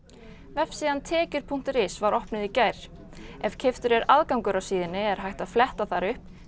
vefsíðan tekjur punktur is var opnuð í gær ef keyptur er aðgangur er hægt að fletta þar upp